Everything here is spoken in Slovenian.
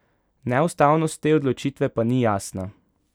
Neustavnost te odločitve pa ni jasna.